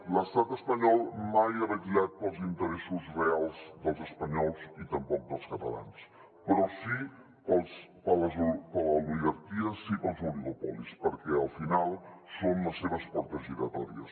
l’estat espanyol mai ha vetllat pels interessos reals dels espanyols i tampoc dels catalans però sí per l’oligarquia sí pels oligopolis perquè al final són les seves portes giratòries